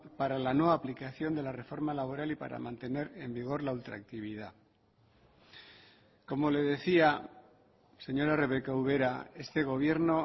para la no aplicación de la reforma laboral y para mantener en vigor la ultraactividad como le decía señora rebeka ubera este gobierno